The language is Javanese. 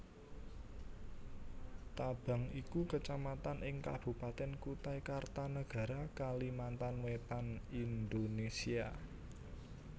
Tabang iku Kacamatan ing Kabupatèn Kutai Kartanegara Kalimantan Wétan Indonésia